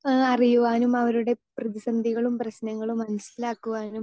speaker 2 ഏഹ് അറിയുവാനും അവരുടെ പ്രതിസന്ധികളും പ്രശ്നങ്ങളും മനസ്സിലാക്കുവാനും